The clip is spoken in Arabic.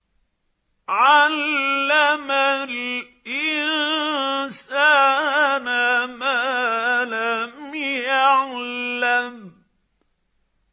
عَلَّمَ الْإِنسَانَ مَا لَمْ يَعْلَمْ